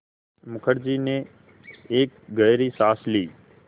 मुखर्जी ने एक गहरी साँस ली